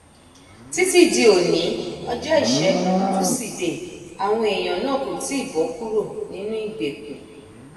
títí di oní ọjọ ìṣègùn túṣìdée àwọn èèyàn náà kò tí ì bọ kúrò nínú ìgbèkùn